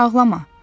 Ağlama.